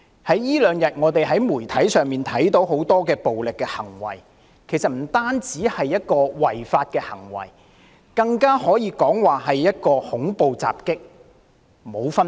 這兩天我們從媒體上看到很多暴力行為，這些行為不單違法，甚至可說和恐怖襲擊全無分別。